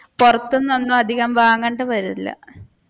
പുറത്തു നിന്നൊന്നും അധികം വാങ്ങേണ്ടി വരൂല.